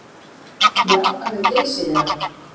Já, alveg geysilega.